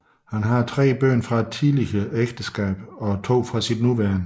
Han har tre børn fra et tidligere ægteskab og to fra sit nuværende